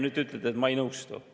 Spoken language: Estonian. Nüüd te ütlete, et ma ei nõustu.